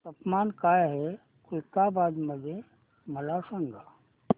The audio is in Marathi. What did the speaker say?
तापमान काय आहे खुलताबाद मध्ये मला सांगा